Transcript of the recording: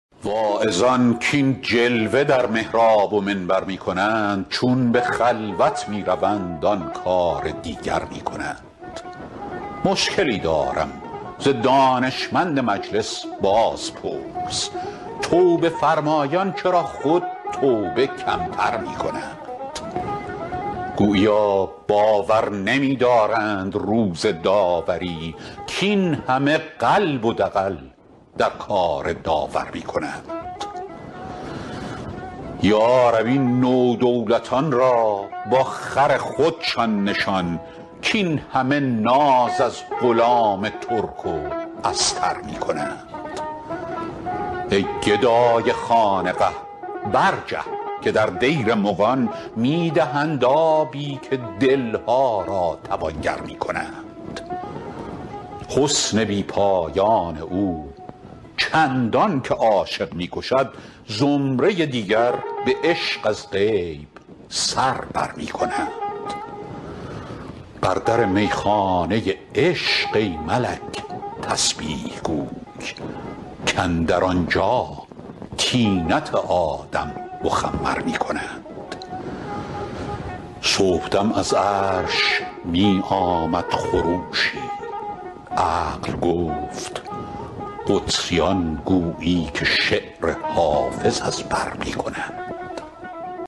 واعظان کاین جلوه در محراب و منبر می کنند چون به خلوت می روند آن کار دیگر می کنند مشکلی دارم ز دانشمند مجلس بازپرس توبه فرمایان چرا خود توبه کم تر می کنند گوییا باور نمی دارند روز داوری کاین همه قلب و دغل در کار داور می کنند یا رب این نودولتان را با خر خودشان نشان کاین همه ناز از غلام ترک و استر می کنند ای گدای خانقه برجه که در دیر مغان می دهند آبی و دل ها را توانگر می کنند حسن بی پایان او چندان که عاشق می کشد زمره دیگر به عشق از غیب سر بر می کنند بر در می خانه عشق ای ملک تسبیح گوی کاندر آنجا طینت آدم مخمر می کنند صبح دم از عرش می آمد خروشی عقل گفت قدسیان گویی که شعر حافظ از بر می کنند